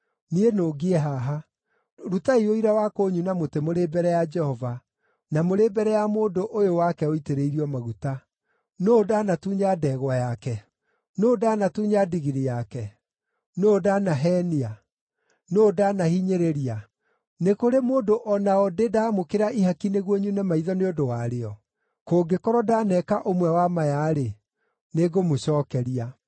Niĩ nũngiĩ haha. Rutai ũira wa kũnyuna mũtĩ mũrĩ mbere ya Jehova, na mũrĩ mbere ya mũndũ ũyũ wake ũitĩrĩirio maguta. Nũũ ndaanatunya ndegwa yake? Nũũ ndaanatunya ndigiri yake? Nũũ ndaanaheenia? Nũũ ndaanahinyĩrĩria? Nĩ kũrĩ mũndũ o na ũ ndĩ ndaamũkĩra ihaki nĩguo nyune maitho nĩ ũndũ warĩo? Kũngĩkorwo ndaneeka ũmwe wa maya-rĩ, nĩngũmũcookeria.”